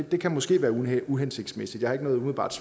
det kan måske være uhensigtsmæssigt jeg har ikke umiddelbart